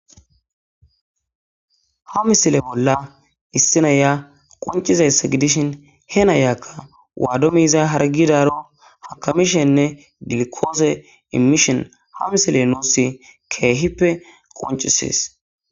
ha misile bolla issinaya qoncizayss gidishin he nayakka waadomiizay hargidaro hakamishenne dilikoose immishon ha misile nuussi keehippe qoncisies